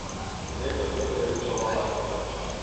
олега федоровича ломакина